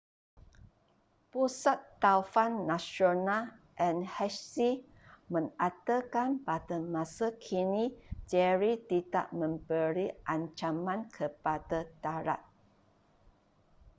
pusat taufan nasional nhc mengatakan pada masa kini jerry tidak memberi ancaman kepada darat